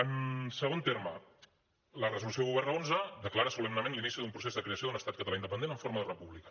en segon terme la resolució un xi declara solemnement l’inici d’un procés de creació d’un estat català independent en forma de república